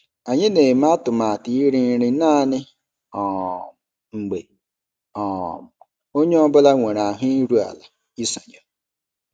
Anyị na-eme atụmatụ iri nri naanị um mgbe um onye ọ bụla nwere ahụ iru ala isonye.